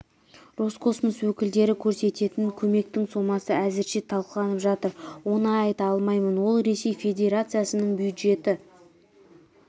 роскосмос өкілдері көрсететін көмектің сомасы әзірше талқыланып жатыр оны айта алмаймын ол ресей федерациясының бюджеті